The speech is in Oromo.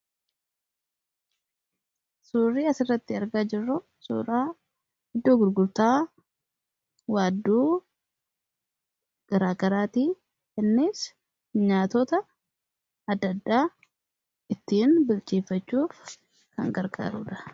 suurri asirratti argaa jirru suura iddoo gurgurtaa waadduu garaa garaati. Innis nyaatoota adda ddaa ittiin bilcheeffachuuf kan garqaarudha.